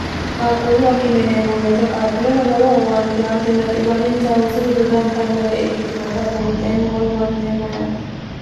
qaaqquullu akime yineemmo weete qaaqqulleho lowo owante aternaxiiwanincha hursete dodantannore ikkitinota buunxeemmo woy huwanteemmo yaate